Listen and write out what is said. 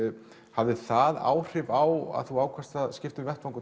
hafði það áhrif á að þú ákvaðst að skipta um vettvang